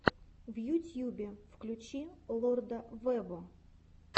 в ютьюбе включи лорда вево